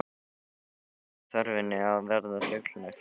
Þannig ætti þörfinni að verða fullnægt.